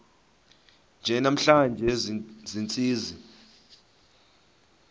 nje namhla ziintsizi